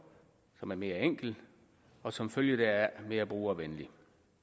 som er mere enkel og som følge deraf mere brugervenlig